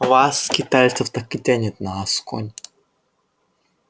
вас скитальцев так и тянет на асконь